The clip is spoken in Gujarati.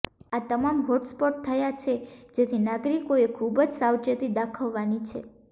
આ તમામ હોટસ્પોટ થયા છે જેથી નાગરિકોએ ખૂબ જ સાવચેતી દાખવવાની છે